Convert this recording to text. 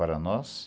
Para nós?